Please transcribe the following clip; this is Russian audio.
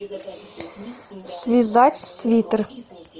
связать свитер